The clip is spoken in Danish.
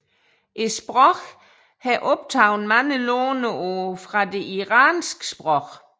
Sproget har optaget mange låneord fra de iranske sprog